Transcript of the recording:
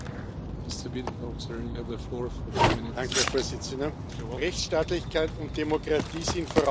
Herr Präsident! Rechtsstaatlichkeit und Demokratie sind Voraussetzung dafür, dass sich die Menschen sicher fühlen können.